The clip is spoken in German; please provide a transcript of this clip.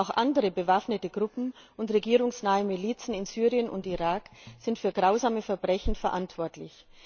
Auch andere bewaffnete Gruppen und regierungsnahe Milizen in Syrien und Irak sind für grausame Verbrechen verantwortlich.